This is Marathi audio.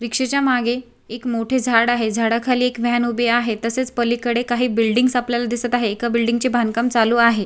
रिक्षा च्या मागे एक मोठे झाड आहे झाडा खाली एक व्हॅन उभी आहे तसेच पलीकडे काही बिल्डिंग आपल्याला दिसत आहेत एका बिल्डिंग चे बांधकाम चालू आहे.